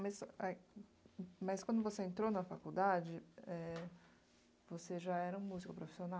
Mas, mas quando você entrou na faculdade, eh, você já era um músico profissional?